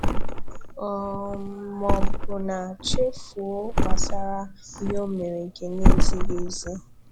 um Ma ọbụna chefuo gbasara ihe ọ mere nke na ezighị ezi.